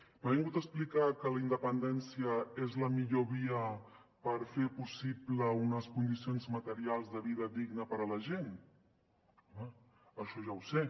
m’ha vingut a explicar que la independència és la millor via per fer possible unes condicions materials de vida digna per a la gent home això ja ho sé